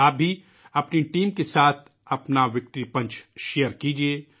آپ بھی اپنی ٹیم کے ساتھ اپنا وِکٹری پنچ شیئر کریئے